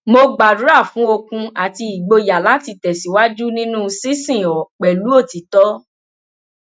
mo gbàdúrà fún okun àti ìgboyà láti tẹsíwájú nínú ṣinṣin ọ pẹlú òtítọ